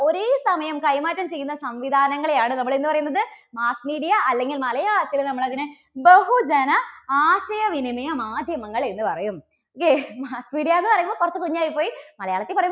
ഒരേസമയം കൈമാറ്റം ചെയ്യുന്ന സംവിധാനങ്ങളെ ആണ് നമ്മൾ എന്തു പറയുന്നത് mass media അല്ലെങ്കിൽ മലയാളത്തിൽ നമ്മൾ അതിനെ ബഹുജന ആശയ വിനിമയ മാധ്യമങ്ങൾ എന്ന് പറയും. okay mass media എന്നുപറയുമ്പോൾ കുറച്ച് കുഞ്ഞ് ആയിപ്പോയി മലയാളത്തിൽ പറ~